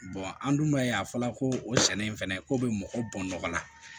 an dun b'a ye a fɔra ko o sɛnɛ in fɛnɛ ko be mɔgɔ bɔn nɔgɔ la